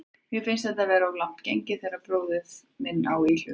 Mér finnst þetta of langt gengið þegar bróðir minn á í hlut.